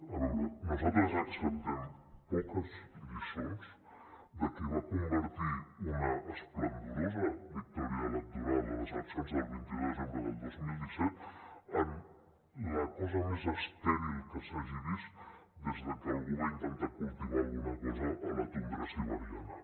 a veure nosaltres acceptem poques lliçons de qui va convertir una esplendorosa victòria electoral a les eleccions del vint un de desembre del dos mil disset en la cosa més estèril que s’hagi vist des de que algú va intentar cultivar alguna cosa a la tundra siberiana